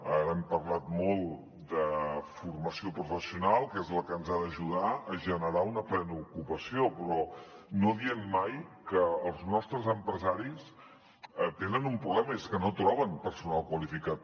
ara hem parlat molt de formació professional que és la que ens ha d’ajudar a generar una plena ocupació però no diem mai que els nostres empresaris tenen un problema i és que no troben personal qualificat